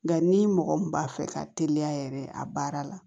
Nka ni mɔgɔ min b'a fɛ ka teliya yɛrɛ a baara la